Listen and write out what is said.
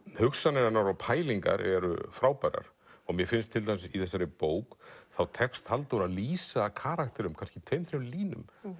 hugsanir hennar og pælingar eru frábærar mér finnst til dæmis í þessari bók þá tekst Halldóru að lýsa karakterum í kannski tveim þrem línum